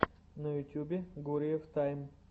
на ютюбе гуриев тайм